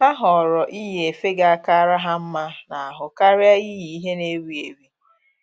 Ha họọrọ iyi efe ga akara ha mma n'ahụ karịa iyi ihe na-ewi ewi,